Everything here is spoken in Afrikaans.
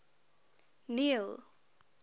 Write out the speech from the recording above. neil